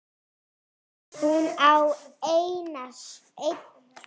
Hún á einn son.